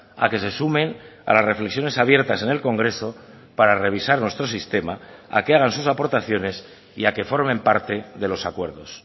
a que se sumen a las reflexiones abiertas en el congreso para revisar nuestro sistema a que hagan sus aportaciones y a que formen parte de los acuerdos